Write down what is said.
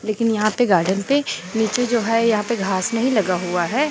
लेकिन यहां पे गार्डन पे नीचे जो है यहां पे घास नहीं लगा हुआ है।